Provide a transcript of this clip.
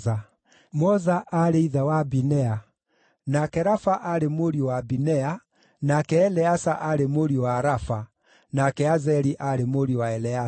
Moza aarĩ ithe wa Binea; nake Rafa aarĩ mũriũ wa Binea, nake Eleasa aarĩ mũriũ wa Rafa, nake Azeli aarĩ mũriũ wa Eleasa.